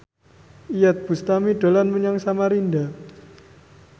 Iyeth Bustami dolan menyang Samarinda